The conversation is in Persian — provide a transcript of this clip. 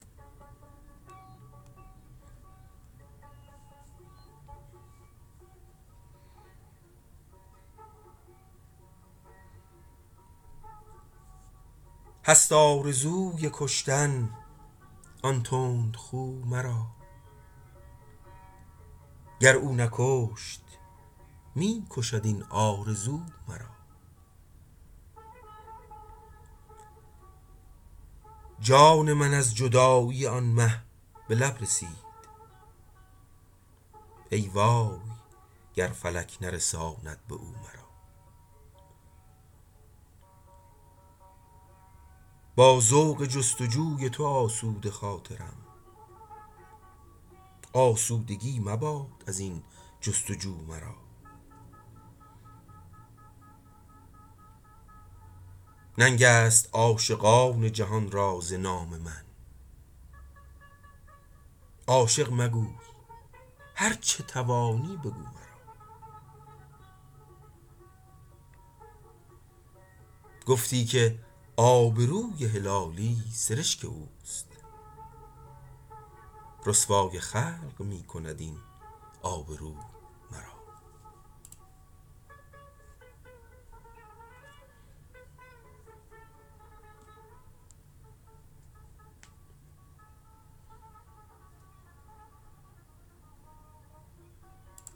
هست آرزوی کشتن آن تند خو مرا گر او نکشت می کشد این آرزو مرا جان من از جدایی آن مه بلب رسید ای وای گر فلک نرساند باو مرا با ذوق جستجوی تو آسوده خاطرم آسودگی مباد ازین جستجو مرا ننگست عاشقان جهان را ز نام من عاشق مگوی هر چه توانی بگو مرا گفتی که آبروی هلالی سرشک اوست رسوای خلق میکند این آب رو مرا